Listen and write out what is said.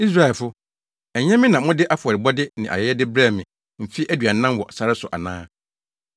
“Israelfo, ɛnyɛ me na mode afɔrebɔde ne ayɛyɛde brɛɛ me mfe aduanan wɔ sare so ana?